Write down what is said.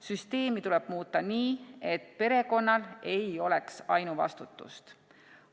Süsteemi tuleb muuta nii, et perekonnal ei oleks ainuvastutust.